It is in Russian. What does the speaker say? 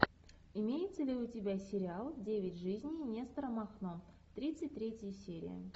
имеется ли у тебя сериал девять жизней нестора махно тридцать третья серия